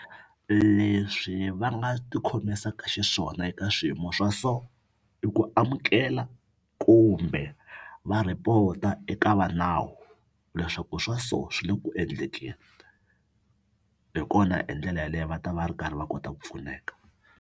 Leswi va nga tikhomisaka xiswona eka swiyimo swa so i ku amukela kumbe va report-a eka va nawu leswaku swa so swi le ku endlekeni hi kona hi ndlela yaleyo va ta va ri karhi va kota ku pfuneka.